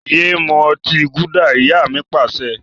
Yé mú ọtí gúdà! Ìyá mi Pàṣẹ.